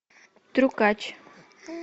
трюкач